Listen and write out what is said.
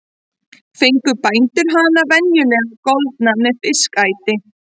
Fengu bændur hana venjulega goldna með fiskæti.